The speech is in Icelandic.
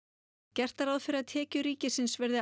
gert er ráð fyrir að tekjur ríkisins verði